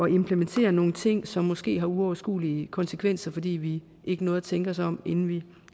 implementere nogle ting som måske har uoverskuelige konsekvenser fordi vi ikke nåede at tænke os om inden vi